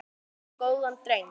Guð geymir góðan dreng.